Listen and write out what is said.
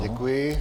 Děkuji.